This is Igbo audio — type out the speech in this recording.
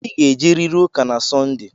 Ị ga-ejerịrị ụka na sọnde!